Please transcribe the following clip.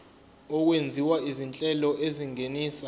okwenziwa izinhlelo ezingenisa